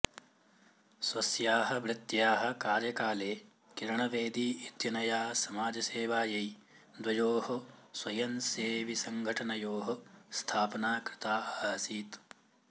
स्वस्याः वृत्त्याः कार्यकाले किरण बेदी इत्यनया समाजसेवायै द्वयोः स्वयंसेविसङ्घटनयोः स्थापना कृता आसीत्